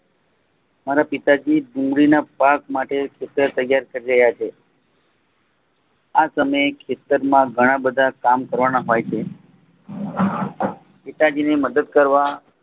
મારા પિતાજી ડુંગળીના પાક માટે ખેતર તૈયાર કરી રહ્યા છે. આ સમયે ખેતર માં ધણા બધા કામ કરવાના હોય છે. પિતાજીની મદદ કરવા